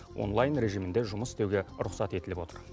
онлайн режимінде жұмыс істеуге рұқсат етіліп отыр